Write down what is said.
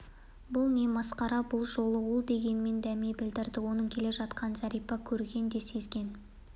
бұл не масқара бір жолы ол дегенмен дәме білдірді оның келе жатқанын зәрипа көрген де сезген